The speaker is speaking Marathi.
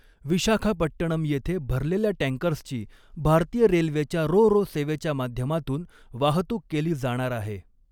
विशाखापट्टणम येथे भरलेल्या टॅँकर्सची भारतीय रेल्वेच्या रो रो सेवेच्या माध्यमातून वाहतूक केली जाणार आहे.